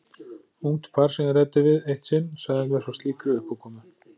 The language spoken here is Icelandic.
Ungt par sem ég ræddi við eitt sinn sagði mér frá slíkri uppákomu.